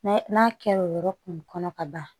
n'a kɛra o yɔrɔ kun kɔnɔ ka ban